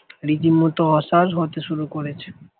রীতিমতো অচল হতে শুরু করেছে